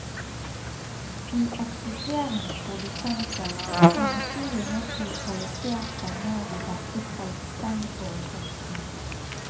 De eksisterende produsenter har naturlig nok lokalisert seg nær de beste kalksteinforekomstene.